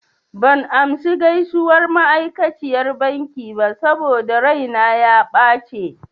Ban amsa gaisuwar ma'aikaciyar bankin ba saboda raina ya ɓace.